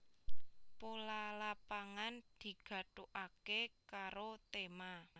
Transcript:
Pola Lapangan digathukaké karo tema